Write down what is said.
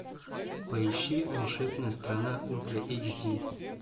поищи волшебная страна ультра эйч ди